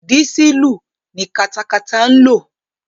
Dísùlù ni katakata ń lò.